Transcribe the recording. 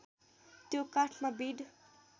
त्यो काठमा बिँड